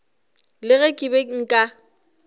le ge ke be nka